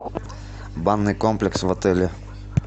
банный комплекс в отеле